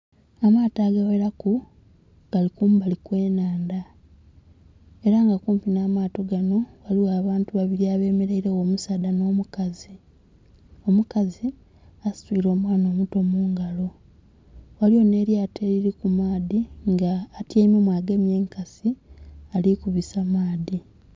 Amaato agaghelaku gali kumabali kwenhandha, ela nga kumpinha maato ghaligho abantu abemeleilegho omusaadha nh'omukazi. Omukazi asituile mwanha omuto mungalo. Ghaligho nh'elyato elili ku maadhi nga atyaimemu agemye enkasi ali kubisa maadhi.